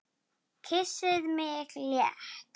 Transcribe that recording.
Kyssir mig létt.